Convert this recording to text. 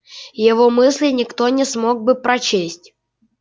его мысли никто не смог бы прочесть